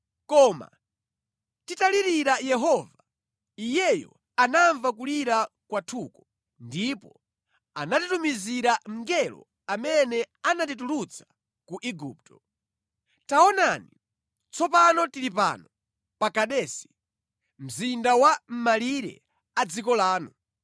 koma titalirira Yehova, Iyeyo anamva kulira kwathuko ndipo anatitumizira mngelo amene anatitulutsa ku Igupto.” “Taonani, tsopano tili pano pa Kadesi, mzinda wa mʼmalire a dziko lanu.